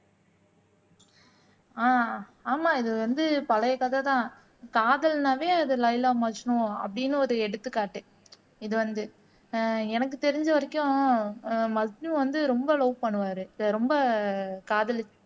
ஆஹ் ஆமா இது வந்து பழைய கதை தான் காதல்னாலே அது லைலா மஜ்னு அப்படின்னு ஒரு எடுத்துக்காட்டு இது வந்து ஆஹ் எனக்கு தெரிஞ்ச வரைக்கும் ஆஹ் மஜ்னு வந்து ரொம்ப லவ் பண்ணுவாரு ரொம்ப காதலிச்சு